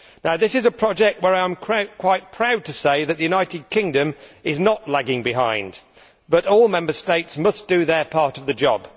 This is a project where, I am quite proud to say, the United Kingdom is not lagging behind, but all Member States must do their part of the job.